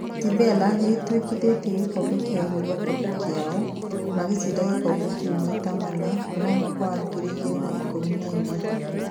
Sevilla nĩ ĩtwikithĩtie gĩkombe kĩa Europa kĩao, magĩcida gĩkombe kĩũ maita mana kuma mwaka wa ngiri igĩrĩ na ikũmi na inya.